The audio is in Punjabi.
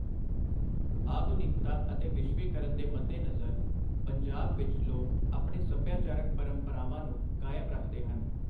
ਆਧੁਨਿਕਤਾ ਅਤੇ ਵਿਸ਼ਵੀਕਰਨ ਦੇ ਮੱਦੇ ਨਜ਼ਰ ਪੰਜਾਬ ਵਿੱਚ ਲੋਕ ਆਪਣੇ ਸਭਿਆਚਾਰਕ ਪਰੰਪਰਾਵਾਂ ਨੂੰ ਕਾਇਮ ਰੱਖਦੇ ਹਨ